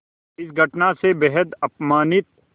इस घटना से बेहद अपमानित